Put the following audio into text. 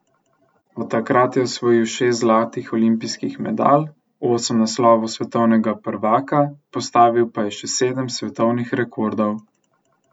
Od takrat je osvojil šest zlatih olimpijskih medalj, osem naslovov svetovnega prvaka, postavil pa je še sedem svetovnih rekordov.